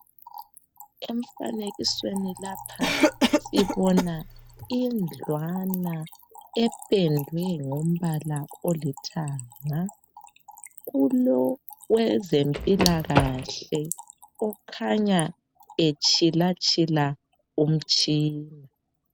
Emfanekisweni lapha sibona indlwana ependwe ngombala olithanga kulowezempilakahle okhanya etshilatshila umtshina.